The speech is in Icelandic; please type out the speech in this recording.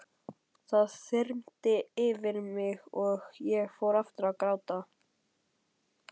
Það þyrmdi yfir mig og ég fór aftur að gráta.